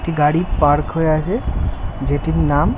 একটি গাড়ি পার্ক হয়ে আছে যেটির নাম ।